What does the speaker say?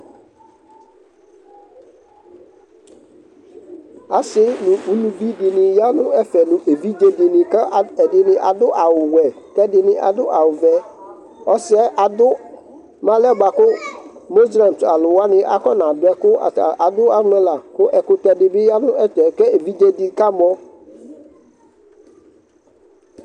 Asɩ nʋ uluvi dɩnɩ ya nʋ ɛfɛ nʋ evidze dɩnɩ kʋ al ɛdɩnɩ adʋ awʋwɛ kʋ ɛdɩnɩ adʋ awʋvɛ, ɔsɩ adʋ mʋ alɛna yɛ bʋa kʋ mozelɛms alʋ wanɩ akɔnadʋ ɛkʋ ata adʋ amɛ la kʋ ɛkʋtɛ dɩ bɩ ya nʋ ɛfɛ kʋ evidze dɩ kamɔ